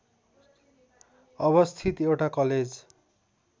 अवस्थित एउटा कलेज